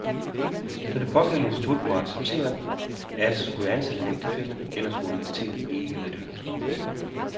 Så det pågældende institut må acceptere at skulle ansætte en ægtefælle, ellers får universitetet ikke, hvad det ønsker.